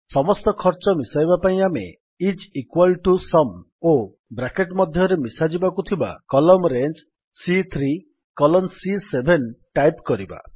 ସମସ୍ତ ଖର୍ଚ୍ଚ ମିଶାଇବା ପାଇଁ ଆମେ ଆଇଏସ ଇକ୍ୱାଲ୍ ଟିଓ ସୁମ୍ ଓ ବ୍ରାକେଟ୍ ମଧ୍ୟରେ ମିଶାଯିବାକୁ ଥିବା କଲମ୍ନ ରେଞ୍ଜ୍ ସି3 କଲନ୍ ସି7 ଟାଇପ୍ କରିବା